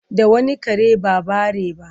Da wani kare ba bare ba?